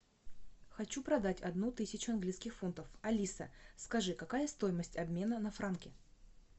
хочу продать одну тысячу английских фунтов алиса скажи какая стоимость обмена на франки